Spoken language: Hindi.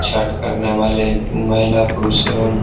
छठ करने वाले महिला पुरुष एवं --